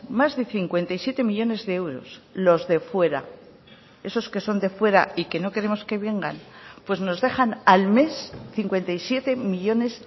más de cincuenta y siete millónes de euros los de fuera esos que son de fuera y que no queremos que vengan pues nos dejan al mes cincuenta y siete millónes